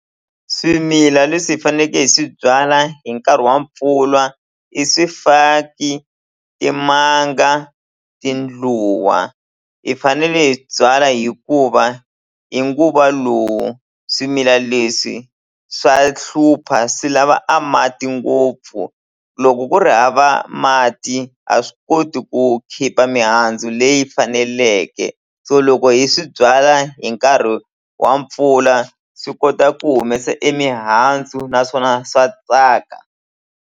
Swimila leswi hi faneke hi swi byala hi nkarhi wa mpfula i swifaki, timanga, tindluwa hi fanele hi byala hikuva hi nguva lowu swimila leswi swa hlupha swi lava a mati ngopfu loko ku ri hava mati a swi koti ku khipha mihandzu leyi faneleke so loko hi swi byala hi nkarhi wa mpfula swi kota ku humesa e mihandzu naswona swa tsaka.